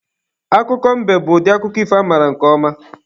Akụkọ mbe bụ akụkọ ifo amaara nke ọma.